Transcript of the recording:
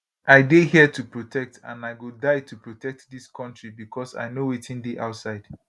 i dey here to protect and i go die to protect dis kontri becos i know wetin dey outside